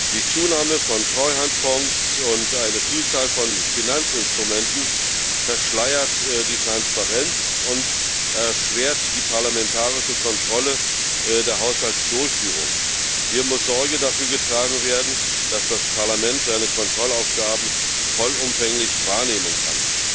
Die Zunahme von Treuhandfonds und eine Vielzahl von Finanzinstrumenten verschleiern die Transparenz und erschweren die parlamentarische Kontrolle der Haushaltsdurchführung. Hier muss Sorge dafür getragen werden, dass das Parlament seine Kontrollaufgaben vollumfänglich wahrnehmen kann.